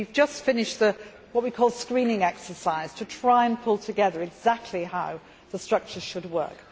We have just finished what we call the screening exercise to try to pull together exactly how the structure should work.